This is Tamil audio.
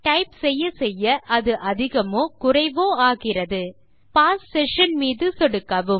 டைப் செய்ய செய்ய அது அதிகமாகவோ குறைவாகவோ ஆகிறது பாஸ் செஷன் மீது சொடுக்கவும்